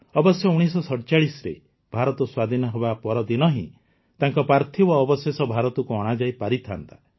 ଅବଶ୍ୟ ୧୯୪୭ରେ ଭାରତ ସ୍ୱାଧୀନ ହେବା ପରଦିନ ହିଁ ତାଙ୍କ ପାର୍ଥିବ ଅବଶେଷ ଭାରତକୁ ଅଣାଯାଇପାରିଥାନ୍ତା